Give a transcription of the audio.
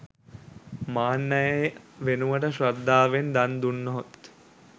මාන්නය වෙනුවට ශ්‍රද්ධාවෙන් දන් දුනහොත්